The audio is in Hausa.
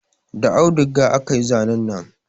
Da auduga aka yi zanin nan